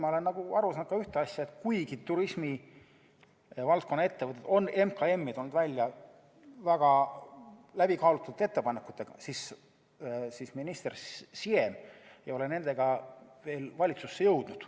Ma olen paraku aru saanud ühest asjast: kuigi turismivaldkonna ettevõtted on MKM-is tulnud välja väga läbikaalutud ettepanekutega, ei ole minister Siem nendega veel valitsusse jõudnud.